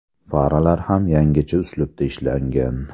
Faralar ham yangicha uslubda ishlangan.